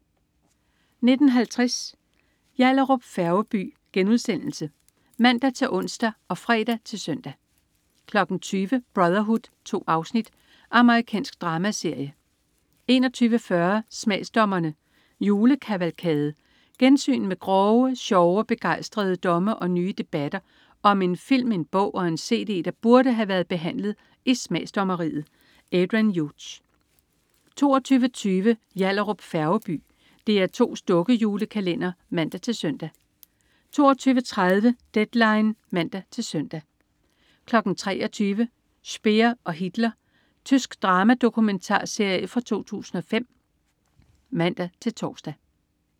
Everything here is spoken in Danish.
19.50 Yallahrup Færgeby* (man-ons og fre-søn) 20.00 Brotherhood. 2 afsnit. Amerikansk dramaserie 21.40 Smagsdommerne: Julekavalkade. Gensyn med grove, sjove og begejstrede domme og nye debatter om en film, en bog og en cd, der burde have været behandlet i smagsdommeriet. Adrian Hughes 22.20 Yallahrup Færgeby. DR2's dukke-julekalender (man-søn) 22.30 Deadline (man-søn) 23.00 Speer og Hitler. Tysk dramadokumentarserie fra 2005 (man-tors)